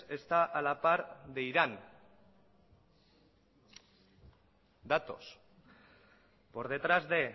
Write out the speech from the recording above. está a la par de irán datos por detrás de